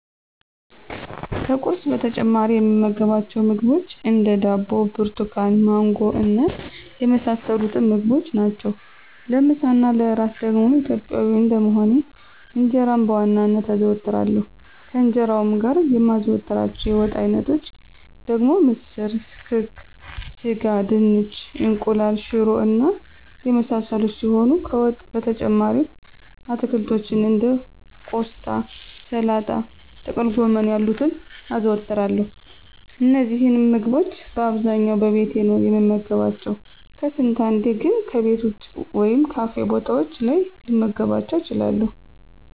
ከቁርስ በተጨማሪ የምመገባቸው ምግቦች እንደ፦ ዳቦ፣ ብርቱካን፣ ማንጎ እና የመሳሰሉትን ምግቦች ናቸው። ለምሳ እና ለእራት ደግሞ ኢትዮጵያዊ እንደመሆኔ እንጀራን በዋናነት አዘወትራለሁ፤ ከእንጀራውም ጋር የማዘወትራቸው የወጥ አይነቶች ደግሞ ምስር፣ ክክ፣ ስጋ፣ ድንች፣ እንቁላል፣ ሽሮ እና የመሳሰሉት ሲሆኑ ከወጥ በተጨማሪም አትክልቶችን እንደ ቆስጣ፣ ሰላጣ፣ ጥቅልጎመን ያሉትን አዘወትራለሁ። እነዚህንም ምግቦች በአብዛኛው በቤቴ ነው የምመገባቸው፤ ከስንት አንዴ ግን ከቤት ወጭ ወይም ካፌ ቦታዎች ላይ ልመገባቸው እችላለሁ።